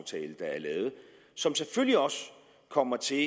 som selvfølgelig også kommer til